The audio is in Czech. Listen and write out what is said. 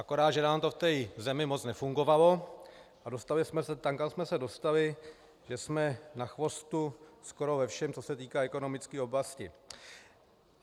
Akorát že nám to v té zemi moc nefungovalo a dostali jsme se tam, kam jsme se dostali, že jsme na chvostu skoro ve všem, co se týká ekonomické oblasti.